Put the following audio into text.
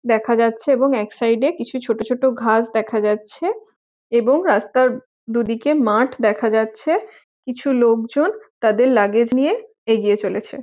দেখা যাচ্ছে এবং এক সাইড এ কিছু ছোট ছোট ঘাস দেখা যাচ্ছে এবং রাস্তার দু দিকে মাঠ দেখা যাচ্ছে। কিছু লোকজন তাদের লাগেজ নিইয়ে এগিয়ে চলেছে।